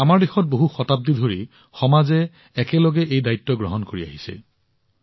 আমাৰ দেশত বহু শতাব্দী ধৰি সমাজে একেলগে এই দায়িত্ব গ্ৰহণ কৰি আহিছে